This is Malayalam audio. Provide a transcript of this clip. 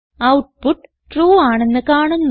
ഔട്ട്പുട്ട് ട്രൂ ആണെന്ന് കാണുന്നു